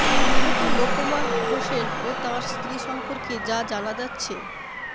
নিহত লোকমান হোসেন ও তাঁর স্ত্রী সম্পর্কে যা জানা যাচ্ছে